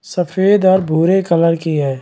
सफ़ेद और भूरे कलर की है।